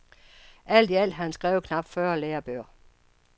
Alt i alt har han skrevet knapt fyrre lærebøger.